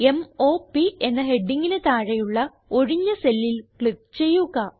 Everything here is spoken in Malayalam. m o പ് എന്ന ഹെഡിംഗിന് താഴെയുള്ള ഒഴിഞ്ഞ cellൽ ക്ലിക്ക് ചെയ്യുക